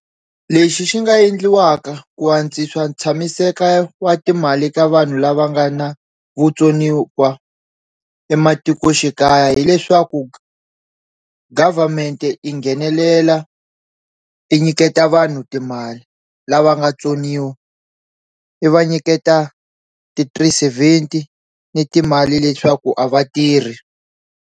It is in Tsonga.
Lexi xi nga endliwaka ku antswisa tshamiseka wa timali ka vanhu lava nga na vutsoniwa ematikoxikaya hileswaku government i nghenelela i nyiketa vanhu timali lava nga tsoniwa i va nyiketa ti-three seventy ni timali leswaku a va tirhi.